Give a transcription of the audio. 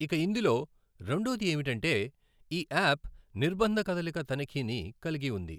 ఇక ఇందులో రెండోది ఏమిటంటే, ఈ యాప్ నిర్బంధ కదలిక తనిఖీని కలిగి ఉంది.